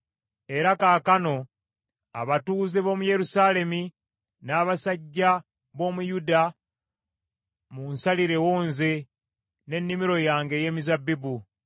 “Era kaakano abatuuze b’omu Yerusaalemi n’abasajja b’omu Yuda, munsalirewo nze n’ennimiro yange ey’emizabbibu.”